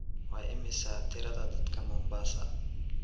Waa imisa tirada dadka Mombasa?